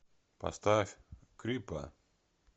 поставь крипа